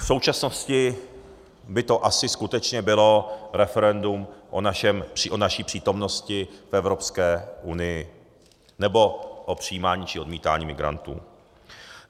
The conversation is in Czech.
V současnosti by to asi skutečně bylo referendum o naší přítomnosti v Evropské unii nebo o přijímání či odmítání migrantů.